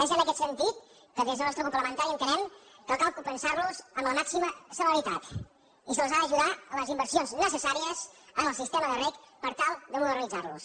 és en aquest sentit que des del nostre grup parlamentari entenem que cal compensar los amb la màxima celeritat i se’ls ha d’ajudar en les inversions necessàries en el sistema de reg per tal de modernitzar lo